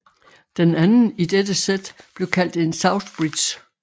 Den anden i dette sæt blev kaldt en southbridge